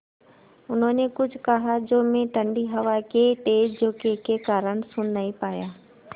उन्होंने कुछ कहा जो मैं ठण्डी हवा के तेज़ झोंके के कारण सुन नहीं पाया